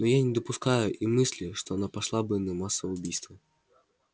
но я не допускаю и мысли что она пошла бы на массовое убийство